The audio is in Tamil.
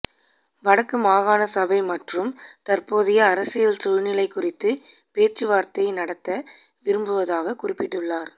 வடக்கு மாகாண சபை மற்றும் தற்போதைய அரசியல் சூழ்நிலை குறித்து பேச்சுவார்த்தை நடாத்த விரும்புவதாகக் குறிப்பிட்டுள்ளார்